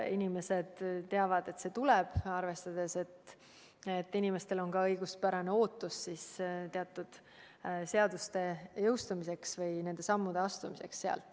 Inimesed on teadnud, et see tuleb, ja inimestel on ka õiguspärane ootus teatud seaduste jõustumiseks ja nende sammude astumiseks.